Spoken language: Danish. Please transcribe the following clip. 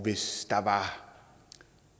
hvis der var